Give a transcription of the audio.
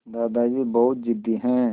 दादाजी बहुत ज़िद्दी हैं